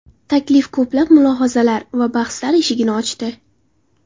Taklif ko‘plab mulohazalar va bahslar eshigini ochdi.